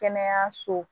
Kɛnɛyaso